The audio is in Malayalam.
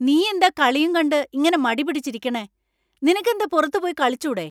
നീയെന്താ കളിയും കണ്ട് ഇങ്ങനെ മടി പിടിച്ചിരിക്കണെ ? നിനക്ക് എന്ത പുറത്ത് പോയി കളിച്ചൂടെ ?